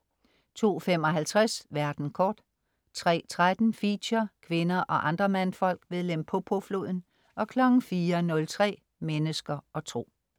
02.55 Verden kort* 03.13 Feature: Kvinder og andre mandfolk ved Limpopo-floden* 04.03 Mennesker og Tro*